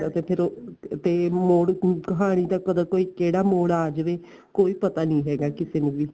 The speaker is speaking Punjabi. ਤੇ ਫੇਰ ਉਹ ਤੇ ਮੋੜ ਹੁਣ ਕਹਾਣੀ ਦਾ ਕਦੋਂ ਕੋਈ ਕਿਹੜਾ ਮੋੜ ਆ ਜਾਵੇ ਕੋਈ ਪਤਾ ਨੀਂ ਹੈਗਾ ਕਿਸੇ ਨੂੰ ਵੀ